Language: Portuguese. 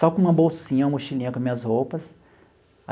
Só com uma bolsinha, uma mochilinha com minhas roupas.